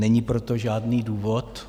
Není pro to žádný důvod.